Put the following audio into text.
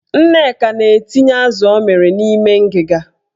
Nneka na-etinye azụ ọ mịrị n'ime ngiga.